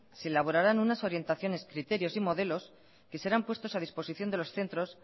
se elaborarán unas orientaciones criterios y modelos que serán puestos a disposición de los centros